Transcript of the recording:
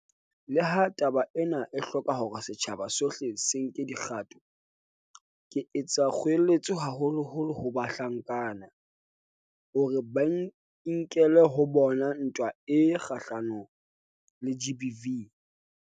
Leha taba ena e hloka hore setjhaba sohle se nke dikgato, ke etsa kgoeletso haholoholo ho bahlankana, hore ba e nkele ho bona ntwa e kgahlanong le GBV.